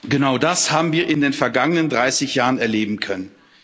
Genau das haben wir in den vergangenen 30 Jahren erleben können.